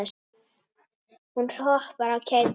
Hún hoppar af kæti.